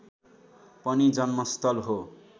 पनि जन्मस्थल हो